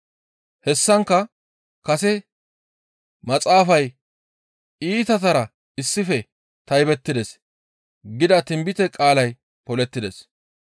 Hessankka kase maxaafay, «Iitatara issife taybettides» gida tinbite qaalay polettides.